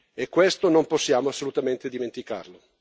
E questo non possiamo assolutamente dimenticarlo.